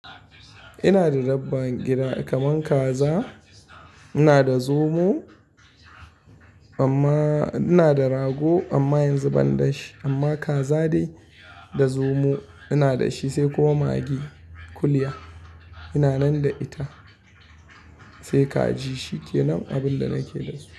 Ina da dabban gida kaman kaza, ina da zomo amma ina da rago amma yanzu ban da shi amma kaza dai da zomo ina da shi sai kuma magi kuliya ina nan da ita sai kaji shi kenan abin da nake da su.